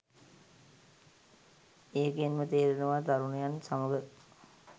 ඒකෙන්ම තේරෙනවා තරුණයන් සමග